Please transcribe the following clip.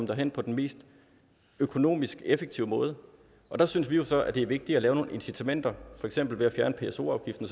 derhen på den mest økonomisk effektive måde og der synes vi jo så at det er vigtigere at lave nogle incitamenter for eksempel ved at fjerne pso afgiften